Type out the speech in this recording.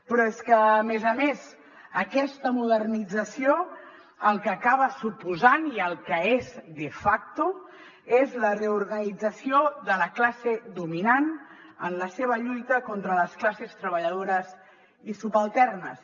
però és que a més a més aquesta modernització el que acaba suposant i el que és de facto és la reorganització de la classe dominant en la seva lluita contra les classes treballadores i subalternes